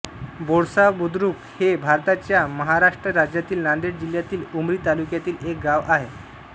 बोळसा बुद्रुक हे भारताच्या महाराष्ट्र राज्यातील नांदेड जिल्ह्यातील उमरी तालुक्यातील एक गाव आहे